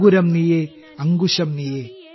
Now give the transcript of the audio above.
അങ്കുരം നീയെ അങ്കുശം നീയെ